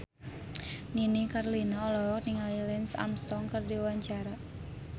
Nini Carlina olohok ningali Lance Armstrong keur diwawancara